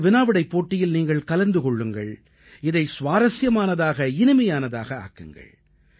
இந்த வினாவிடைப் போட்டியில் நீங்கள் கலந்து கொள்ளுங்கள் இதை சுவாரசியமானதாக இனிமையானதாக ஆக்குங்கள்